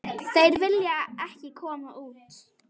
Þeir vilja ekki koma út.